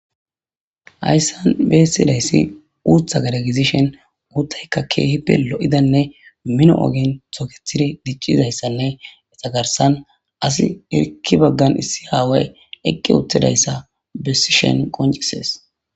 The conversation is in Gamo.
hayssan beessilayssi uutha gadagizishen uuttaykka keehi pi lo7idanne mino7ogen tokethidi diccizayssanne etagarsan asi irkki baggan issi haaway eqqi uttidayssa besishen qoncises